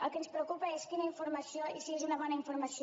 el que ens preocupa és quina informació i si és una bona informació